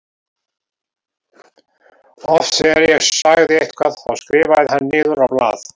Oft þegar ég sagði eitthvað þá skrifaði hann niður á blað.